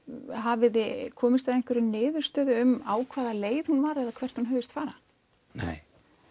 hafið þið komist að einhverri niðurstöðu um á hvaða leið hún var eða hvert hún hugðist fara nei